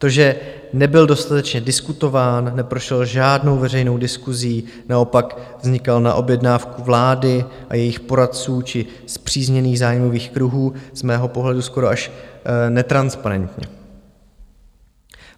To, že nebyl dostatečně diskutován, neprošel žádnou veřejnou diskusí, naopak vznikal na objednávku vlády a jejích poradců či spřízněných zájmových kruhů, z mého pohledu skoro až netransparentně.